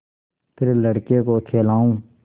फिर लड़के को खेलाऊँ